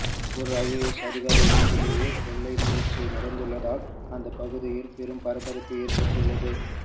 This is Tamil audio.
ஒரு ஐஏஎஸ் அதிகாரி வீட்டிலேயே கொள்ளை முயற்சி நடந்துள்ளதால் அந்த பகுதியில் பெரும் பரபரப்பு ஏற்பட்டுள்ளது